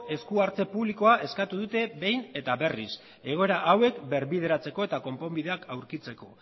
esku hartze publikoa eskatu dute behin eta berriz egoera hauek birbideratzeko eta konponbideak aurkitzeko